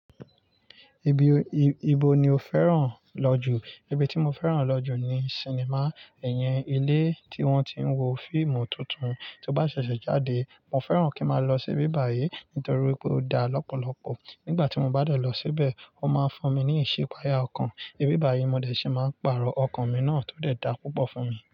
Ibi, ibo ni o fẹ́ràn lọ jù? Ibi tí mo fẹ́ràn lọ jù ni sinimá, iyen, ilé tí wọ́n ti ń wo fíìmù tuntun tó bá ṣẹ̀ṣẹ̀ jáde. Mo fẹ́ràn kí má lọ sí ibi báyìí nítorí pé ó da lọ́pọ̀lọpọ̀. Nígbà tí mo bá lọ síbẹ̀, ó máa fún mi ní ìṣípayà ọkàn. Ibi báyìí mo dẹ̀ ṣe máa pààrọ̀ ọkàn mi náà tó dẹ̀ dá púpọ̀ fún mi.